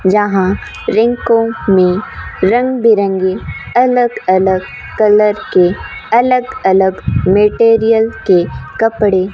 जहां रिंगकांग में रंग बिरंगे अलग अलग कलर के अलग अलग मटेरियल के कपड़े --